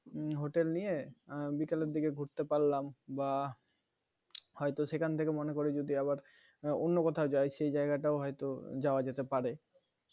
hotel নিয়ে বিকেলের দিকে ঘুরতে পারলাম বা হয়তো সেখান থেকে মনে করি যদি আবার অন্য কোথাও যাই সেই জায়গাটাও হয়তো যাওয়া যেতে পারে